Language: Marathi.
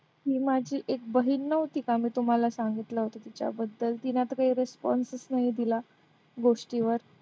ही माझी एक बहीण नव्हती का मी तुम्हाला सांगितलं होतं तिच्याबद्दल तिने आता काही response च नाही दिला गोष्टीवर.